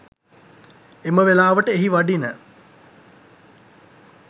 එම වෙලාවට එහි වඩින